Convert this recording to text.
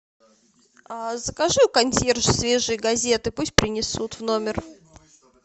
закажи у консьержа свежие газеты пусть принесут в номер